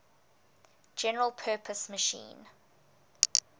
general purpose machine